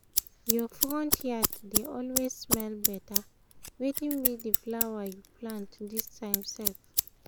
your front yard dey always smell better — wetin be the flower you plant this time sef?